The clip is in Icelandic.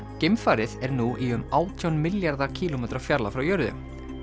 geimfarið er nú í um átján milljarða kílómetra fjarlægð frá jörðu